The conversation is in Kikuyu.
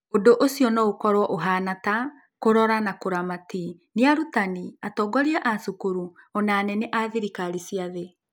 Ũndũ ũcio no ũkorũo ũhaana ta "kũrora na kũramati" nĩ arutani, atongoria a cukuru, o na anene a thirikari cia thĩ.